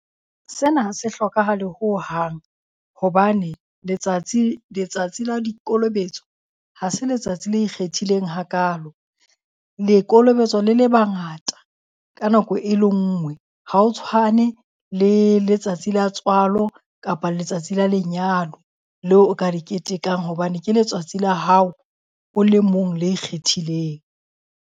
Sena ha se hlokahale hohang. Hobane letsatsi letsatsi la dikolobetso ha se letsatsi le ikgethileng hakalo. Le kolobetswa le le bangata ka nako e le ngwe. Ha ho tshwane le letsatsi la tswalo kapa letsatsi la lenyalo leo o ka le ketekang hobane ke letsatsi la hao o le mong le ikgethileng.